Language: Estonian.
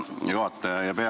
Hea juhataja!